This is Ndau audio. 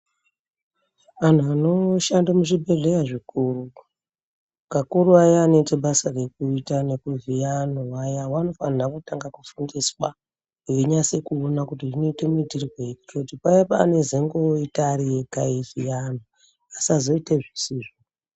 Antu anoshanda muzvibhedhlera zvikuru kakuru aya anoita basa rekuita nekuvhiya antu aya vanofanirwa kutanga kufundiswa veinyaso kuona kuti zvinoitwa muitirwei nekuti paya pavzozonge voita variega veyivhiya vantu vasazoita zvisizvo.